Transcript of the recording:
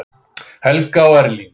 Helga og Erling.